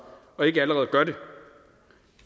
og ikke allerede gør det